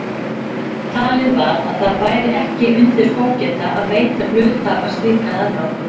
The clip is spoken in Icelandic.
Talið var að það bæri ekki undir fógeta að veita hluthafa slíkan aðgang.